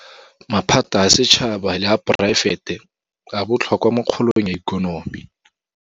Maphata a setšhaba le a poraefete a botlhokwa mo kgolong ya ikonomi.